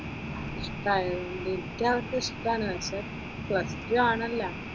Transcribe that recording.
ഇഷ്‌ടയൊണ്ട്, എനിക്ക് അതൊക്കെ ഇഷ്ടം ആണ് പക്ഷെ പ്ലസ് ടു ആണല്ലോ.